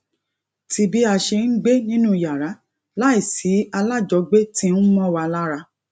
ti bi a se n gbé nínú yàrá lai si alajogbe ti n mo wa lara